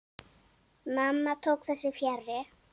Mamma tók þessu fjarri.